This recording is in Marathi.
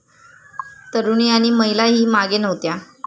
तरूणी आणि महिलाही मागे नव्हत्या.